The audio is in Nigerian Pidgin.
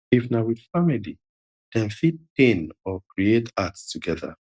if na with family dem fit pain or create art together